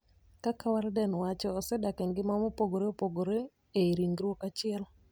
Kaka Walden wacho: "osedak engima ma opogore opogore ei ringruok achiel.